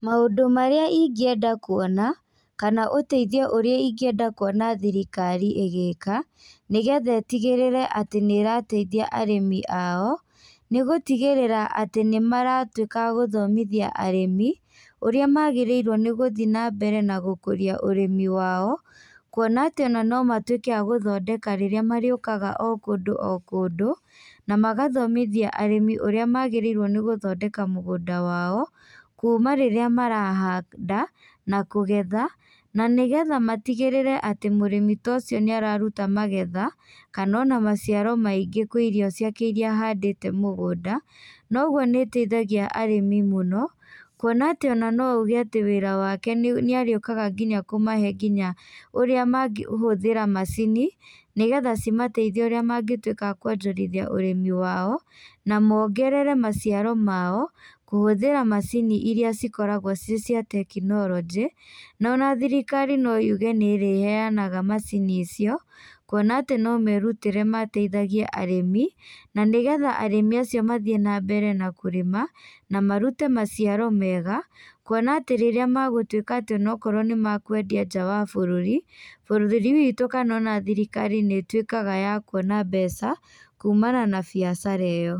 Maũndũ marĩa ingĩenda kũona kana ũteithio ũrĩa ingĩenda kũona thirikari ĩgĩka nĩ getha ĩtigĩrĩre atĩ nĩrateithia arĩmi ao, nĩ gũtigĩrĩra atĩ nĩ maratwĩka agũthomithia arĩmi ũrĩa magĩrĩirwo nĩ gũthiĩ na mbere na gũkũria ũrĩmi wao, kuona atĩ no matũĩke a gũthondeka rĩrĩa marĩũkaga o kũndũ o kũndũ na magathomithia arĩmi ũrĩa magĩrĩrwo nĩ gũthondeka mũgũnda wao kuma rĩrĩa marahanda na kũgetha na nĩ getha matigĩrĩre atĩ mũrĩmi ta ũcio nĩararuta magetha kana ona maciaro maingĩ kwĩ irio ciake iria ahandĩte mũgũnda na ũgũo nĩ ĩteithagia arĩmi mũno kũona atĩ no ũgĩe atĩ wĩra wake nĩarĩũkaga nginya kũmahe nginya ũrĩa mangĩhũthira macini nĩ getha cimateithie ũrĩa mangĩtwĩka akũonjorithia ũrĩmi wao na mongerere maciaro mao kũhũthĩra macini iria cikoragwo ci cia tekinoronjĩ na ona thirikari no yuge nĩrĩheanaga macini icio kuona atĩ no merũtĩre mateithagie arĩmi na nĩgetha arĩmi acio mathiĩ na mbere na kũrĩma na marũte maciaro mega kuona atĩ rĩrĩa magũtũĩka atĩ ona korwo kwendia nja wa bũrũri. Bũrũri witũ kana ona thirikari nĩtuĩkaga ya kũona mbeca kũmana na biacara iyo.